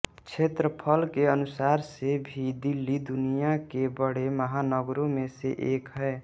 क्षेत्रफल के अनुसार से भी दिल्ली दुनिया के बड़े महानगरों में से एक है